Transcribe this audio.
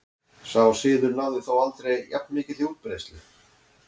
Sá siður náði þó aldrei jafn mikilli útbreiðslu.